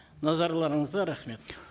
назарларыңызға рахмет